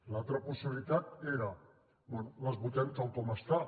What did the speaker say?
l’altre la possibilitat era bé les votem tal com estan